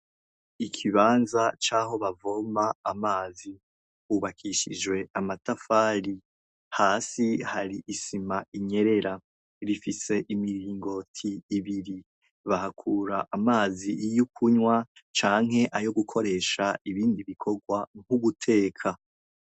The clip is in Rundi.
Ikibanza caho bavoma amazi cubakishijwe amatafari hasi isima irirabura gifise imiringoti ibiri bahakura amazi yo kunywa canke ayo gukoresha mubikorwa vyo guteka.